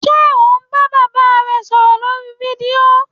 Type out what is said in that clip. Ṣe o n ba baba re sọrọ lorí fídío?